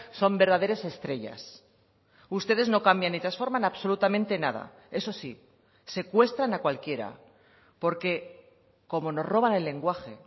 son verdaderas estrellas ustedes no cambian ni transforman absolutamente nada eso sí secuestran a cualquiera porque como nos roban el lenguaje